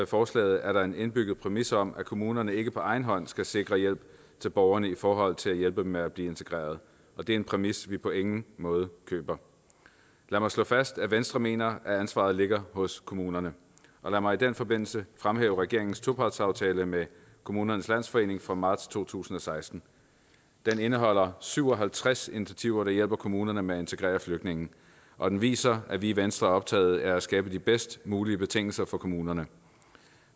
forslaget er der en indbygget præmis om at kommunerne ikke på egen hånd skal sikre hjælp til borgerne i forhold til at hjælpe dem med at blive integreret og det er en præmis som vi på ingen måde køber lad mig slå fast at venstre mener at ansvaret ligger hos kommunerne og lad mig i den forbindelse fremhæve regeringens topartsaftale med kommunernes landsforening fra marts to tusind og seksten den indeholder syv og halvtreds initiativer der hjælper kommunerne med at integrere flygtninge og den viser at vi i venstre er optaget af at skabe de bedst mulige betingelser for kommunerne